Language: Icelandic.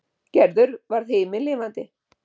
Gerður varð himinlifandi.